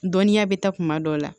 Dɔnniya bɛ taa kuma dɔ la